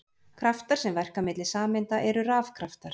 Kraftar sem verka milli sameinda eru rafkraftar.